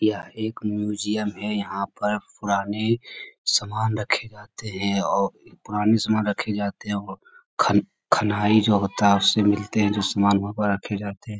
यहाँ एक म्यूजियम है यहाँ पर पुराने सामान रखे जाते हैं और खनाई जो होता है उससे मिलते हैं जो सामान वहाँ पर रखे जाते है।